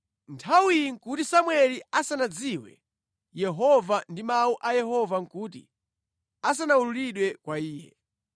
Nthawiyi nʼkuti Samueli asanadziwe Yehova ndipo Mawu a Yehova nʼkuti asanawululidwe kwa iye.